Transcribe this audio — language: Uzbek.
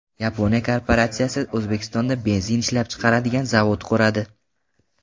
Yaponiya korporatsiyasi O‘zbekistonda benzin ishlab chiqaradigan zavod quradi.